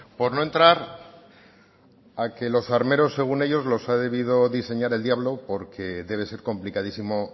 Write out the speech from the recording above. por no entrar a que los armeros según ellos los ha debido diseñar el diablo porque debe ser complicadísimo